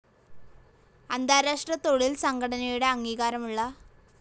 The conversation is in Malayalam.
അന്താരാഷ്ട്ര തൊഴിൽ സംഘടനയുടെ അംഗീകാരമുള്ള